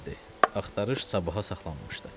Axtarış sabaha saxlanmışdı.